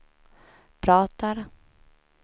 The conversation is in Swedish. pratar